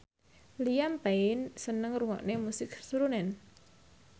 Liam Payne seneng ngrungokne musik srunen